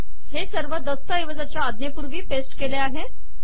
हे सर्व दस्तऐवजाच्या आज्ञेपूर्वी पेस्ट केले आहे